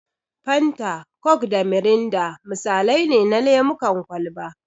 Fanta, coke da mirinda misalai ne na lemun kwalba.